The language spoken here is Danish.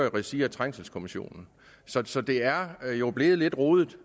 i regi af trængselskommissionen så det er jo blevet lidt rodet